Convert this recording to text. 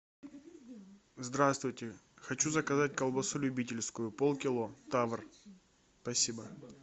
здравствуйте хочу заказать колбасу любительскую полкило тавр спасибо